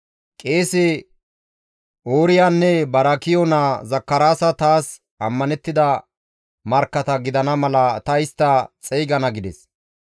Qeese Ooriyanne Baarakiyo naa Zakaraasa taas ammanettida markkata gidana mala ta istta xeygana» gides.